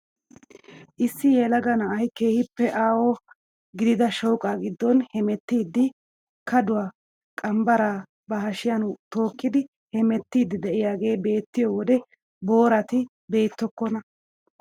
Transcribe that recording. Issi yelaga na'ay keehippe aaho gidida shooqaa giddon hemettiidi kaaduwaa, qanbbaraa ba hashshiyaan tookkidi hemettiidi de'iyaagee beettiyoo wode boorati beettokona.